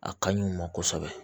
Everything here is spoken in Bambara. A ka ɲi o ma kosɛbɛ